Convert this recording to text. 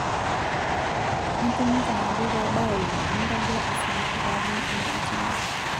'Atumuta nabo pabaya ine amu kagira asiligu pajing inatini.